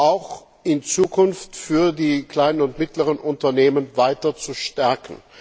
auch in Zukunft für die kleinen und mittleren Unternehmen weiter zu stärken?